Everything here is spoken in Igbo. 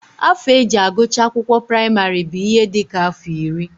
Afọ e ji agụcha akwụkwọ praịmarị bụ ihe dị ka afọ iri